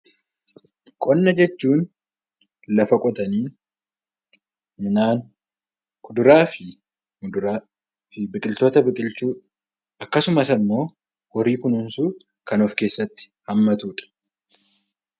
Qonna jechuun lafa qotanii midhaan, kuduraa fi muduraa biqiltoota biqilchuu akkasumas immoo horii kunuunsuu kan of keessatti hammatudha.